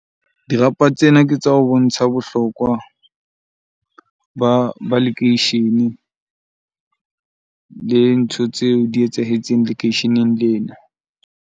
Dirapa tsena ke tsa ho bontsha bohlokwa ba lekeishene le ntho tseo di etsahetseng lekeisheneng lena.